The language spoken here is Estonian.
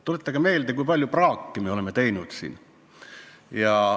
Tuletage meelde, kui palju praaki me oleme siin teinud.